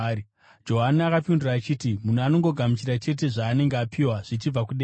Johani akapindura achiti, “Munhu anongogamuchira chete zvaanenge apiwa zvichibva kudenga.